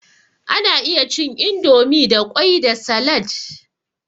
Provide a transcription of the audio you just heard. Ana iya cin indomie da kwai da salad.